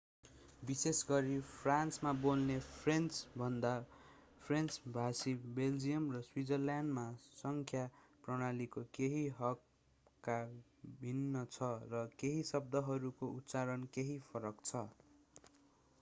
विशेष गरी फ्रान्समा बोल्ने फ्रेन्चभन्दा फ्रेन्च भाषी बेल्जियम र स्विजरल्याण्डमा संख्या प्रणालीको केही हल्का भिन्न छ र केही शब्दहरूको उच्चारण केही फरक छ